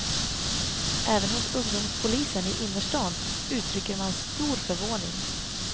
Även hos ungdomspolisen i innerstan uttrycker man stor förvåning.